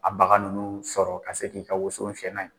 A baga ninnu sɔrɔ ka se k'i ka woson fiyɛ n'a ye.